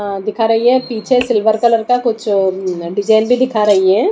अह दिखा रही है पीछे सिल्वर कलर का कुछ उम्म डिजाइन भी दिखा रही है।